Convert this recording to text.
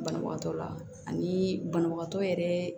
Banabagatɔ la ani banabagatɔ yɛrɛ